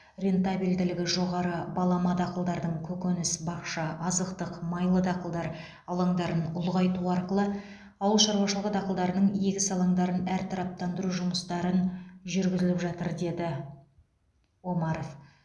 рентабельділігі жоғары балама дақылдардың көкөніс бақша азықтық майлы дақылдар алаңдарын ұлғайту арқылы ауыл шаруашылығы дақылдарының егіс алаңдарын әртараптандыру жұмыстарын жүргізіліп жатыр деді омаров